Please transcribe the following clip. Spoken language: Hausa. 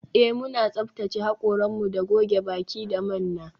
Eh muna tsaftace hakoranmu da goge baki da manna